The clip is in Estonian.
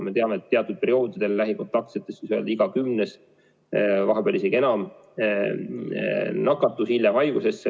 Me teame, et teatud perioodidel lähikontaktsetest iga kümnes, vahepeal isegi enam, nakatus hiljem haigusesse.